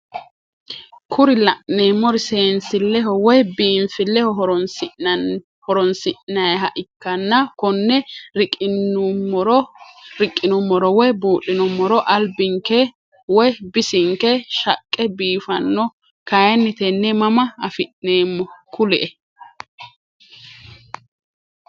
Kuri la'neemori seensilleho woyi biinfilleho horonsinayiiha ikkanna konne riqqinumoro woyi buudhinummoro albinke woye bisinke shaqqe biifanno kayiinni tenne mama afi'neemmo? Kuli"e.